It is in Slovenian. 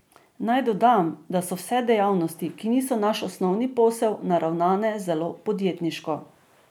Naj dodam, da so vse dejavnosti, ki niso naš osnovni posel, naravnane zelo podjetniško.